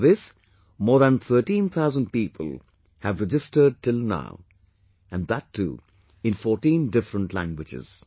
For this more than 13 thousand people have registered till now and that too in 14 different languages